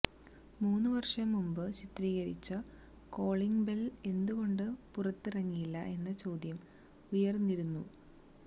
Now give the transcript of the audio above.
മൂന്നു വര്ഷം മുന്പ് ചിത്രീകരിച്ച കോളിംഗ് ബെല് എന്തുകൊണ്ട് പുറത്തിറങ്ങിയില്ല എന്ന ചോദ്യം ഉയര്ന്നിരുന്നു